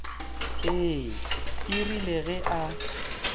ee e rile ge a